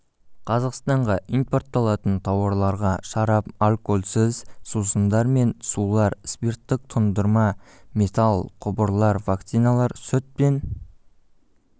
қазақстанға импортталатын тауарларға шарап алкольсіз сусындар мен сулар спирттік тұндырма металл құбырлар вакциналар сүт пен